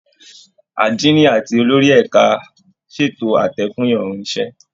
Àdínì àti olórí ẹ̀ka ṣètò àtẹ fún ìrọ̀rùn iṣẹ́